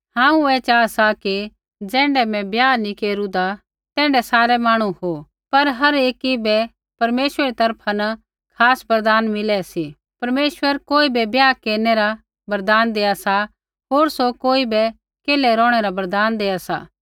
हांऊँ ऐ चाहा सा कि ज़ैण्ढा मैं ब्याह नी केरूदा तैण्ढै सारै मांहणु हो पर हर एकी बै परमेश्वरै री तरफा न खास बरदान मिलै सी परमेश्वर कोई बै ब्याह केरनै रा वरदान देआ सा होर सौ कोई बै केल्है रौहणै रा वरदान देआ सा